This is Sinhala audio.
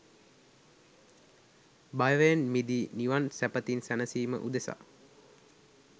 භවයෙන් මිදී නිවන් සැපතින් සැනසීම උදෙසා